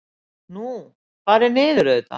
Nú. fara niður auðvitað!